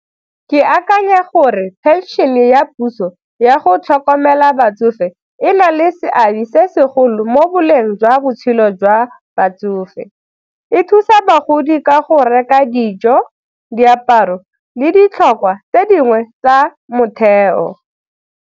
Ke akanya gore phenšene ya puso ya go tlhokomela batsofe e na le seabe se segolo mo boleng jwa botshelo jwa batsofe, e thusa bagodi ka go reka dijo, diaparo le ditlhokwa tse dingwe tsa motheo.